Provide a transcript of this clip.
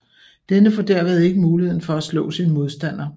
Denne får derved ikke muligheden for at slå sin modstander